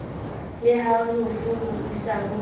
le halofo ho isaho a